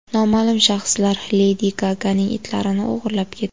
Noma’lum shaxslar Ledi Gaganing itlarini o‘g‘irlab ketdi.